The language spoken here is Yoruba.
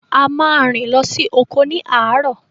A ma rìn lọ sí oko ni àárọ̀